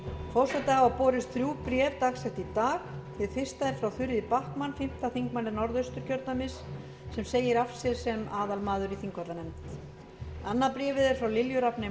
forseta hafa borist þrjú bréf dagsett í dag hið fyrsta er frá þuríði backman fimmti þingmaður norðausturkjördæmis sem segir af sér sem aðalmaður í þingvallanefnd annað bréfið er frá lilju rafneyju